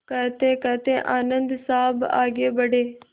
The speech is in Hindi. कहतेकहते आनन्द साहब आगे बढ़े